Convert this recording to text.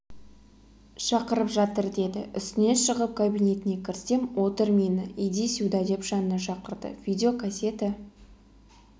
шақырып жатыр деді үстіне шығып кабинетіне кірсем отыр мені иди сюда деп жанына шақырды видеокасета